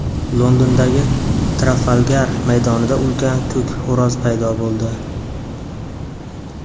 Londondagi Trafalgar maydonida ulkan ko‘k xo‘roz paydo bo‘ldi.